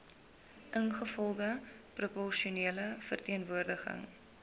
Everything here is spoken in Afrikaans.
ingevolge proporsionele verteenwoordiging